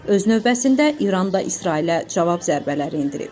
Öz növbəsində İran da İsrailə cavab zərbələri endirib.